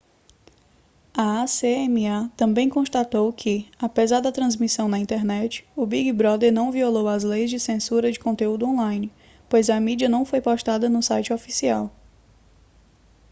a acma também constatou que apesar da transmissão na internet o big brother não violou as leis de censura de conteúdo on-line pois a mídia não foi postada no site oficial